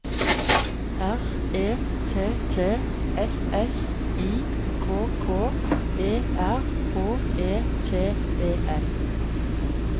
R E T T S S I K K E R H E T E N